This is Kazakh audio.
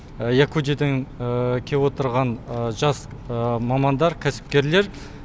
якутиядан кеп отырған жас мамандар кәсіпкерлер